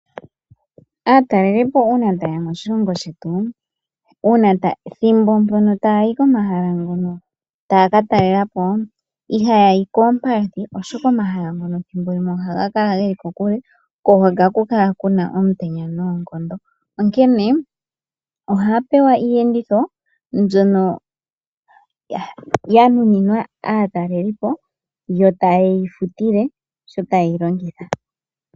Aatalelipo uuna taye ya moshilongo shetu ethimbo ndyono taya yi ko mahala ngono taya ka talelapo ihaya yi koompadhi ,oshoka omahala ngono thimbo limwe ohaga kala geli kokule ko ohaku kala kuna omutenya noonkondo onkene ohaya pewa iiyenditho mbyono ya nuninwa aatalelipo yo taye yi futile sho ta yeyi longitha.